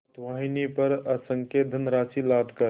पोतवाहिनी पर असंख्य धनराशि लादकर